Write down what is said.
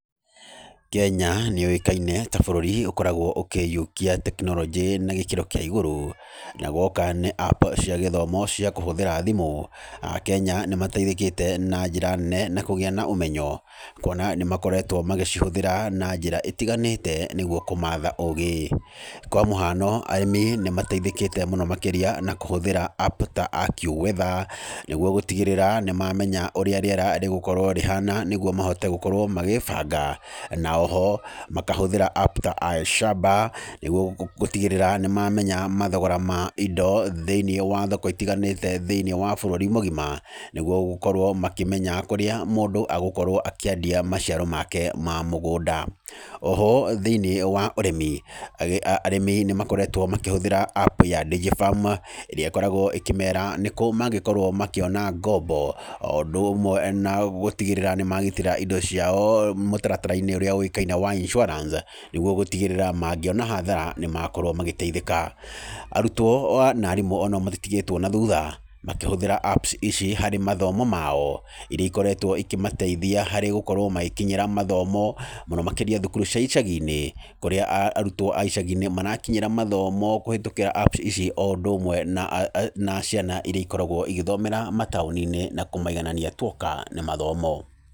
Kenya nĩ yũĩkaine ta bũrũri ũkoragwo ũkĩiyũkia tekinoronjĩ na gĩkĩro kĩa igũrũ, na guoka nĩ app cia gĩthomo cia kũhũthĩra thimũ, akenya nĩ mateithĩkĩte na njĩra nene na kũgĩa na ũmenyo, kuona nĩ makoretwo magĩcihũthĩra na njĩra ĩtiganĩte nĩguo kũmatha ũũgĩ. Kwa mũhano arĩmi nĩmateithĩkĩte mũno makĩria na kũhũthĩra app ta aqueweather, nĩguo gũtigĩrĩra nĩmamenya ũrĩa rĩera rĩgũkorwo rĩhana nĩguo mahote gũkorwo magĩbanga, na o ho makahũthĩra app ta iShamba nĩguo gũtigĩrĩra nĩ mamenya mathogora ma indo thĩiniĩ wa thoko itiganĩte thĩiniĩ wa bũrũri mũgima, nĩguo gũkorwo makĩmenya kũrĩa mũndũ agũkorwo akĩendia maciaro make ma mũgũnda. O ho thĩiniĩ wa ũrĩmi, arĩmi nĩ makoretwo makĩhũthĩra app ya DigiFarm ĩrĩa ĩkoragwo ĩkĩmera nĩ kũ mangĩkorwo makĩona ngombo o ũndũ ũmwe na gũtigĩrĩra nĩ magitĩra indo ciao mũtaratara ũrĩa ũĩkaine wa insurance nĩguo gũtigĩrĩra mangĩona hathara nĩ makorwo magĩteithĩka. Arutwo na arimũ o nao matitigĩtwo na thutha makĩhũthĩra app ici harĩ mathomo mao, iria ikoretwo ikĩmateithia harĩ gũkorwo magĩkinyĩra mathomo mũno makĩria thukuru-inĩ cia icagi-inĩ, kũrĩa arutwo a icagi-inĩ marakinyĩra mathomo kũhĩtũkĩra app ici o ũndũ ũmwe na ciana iria ikoragwo igĩthomera mataũni-inĩ na kũmaiganania tu oka nĩ mathomo.